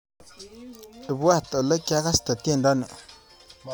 Ibwaat olekyagaste tyendoni